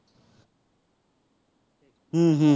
উম হম